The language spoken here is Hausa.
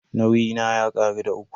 Nauyi na ya karu da uku.